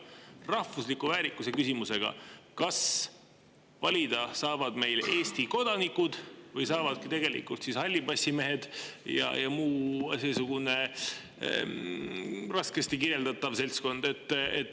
Rahvusliku väärikuse küsimusega, kas valida saavad meil Eesti kodanikud või saavad tegelikult ka hallipassimehed ja muu seesugune raskesti kirjeldatav seltskond.